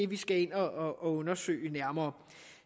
vi skal ind og undersøge nærmere